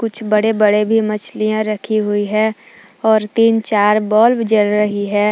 कुछ बड़े बड़े भी मछलियां रखी हुई है और तीन चार बल्ब जल रही है।